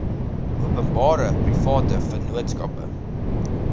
openbare private vennootskappe